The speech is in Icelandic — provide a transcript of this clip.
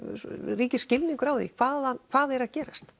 ríkir skilningur á því hvað hvað er að gerast